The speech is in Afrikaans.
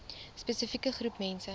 spesifieke groep mense